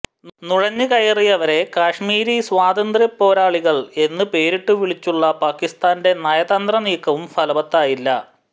നുഴഞ്ഞുകയറിയവരെ കാശ്മീരി സ്വാതന്ത്ര്യ പോരാളികൾ എന്നു പേരിട്ടു വിളിച്ചുള്ള പാകിസ്താന്റെ നയതന്ത്ര നീക്കവും ഫലവത്തായില്ല